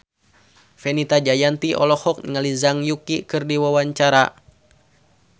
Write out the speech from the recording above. Fenita Jayanti olohok ningali Zhang Yuqi keur diwawancara